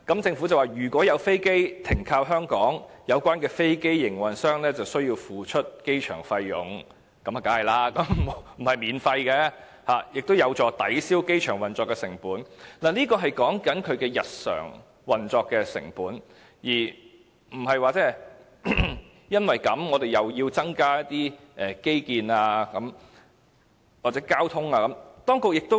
政府接着說："如有飛機停靠香港，有關的飛機營運商須繳付機場費用"——當然不能免費——"此舉有助抵銷機場運作成本"，這是指日常運作成本，而不是我們又要因此增加一些基建或交通設施等的成本。